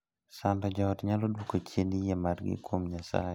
Sando joot nyalo duoko chien yie margii kuom Nyasaye.